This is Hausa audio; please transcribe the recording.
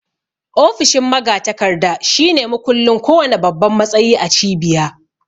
Ofishin magatakarda shine mukullin ko wanna babban matsayi a cibiya